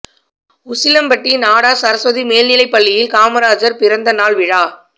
உசிலம்பட்டி நாடார் சரஸ்வதி மேல்நிலைப் பள்ளியில் காமராஜர் பிறந்த நாளா விழா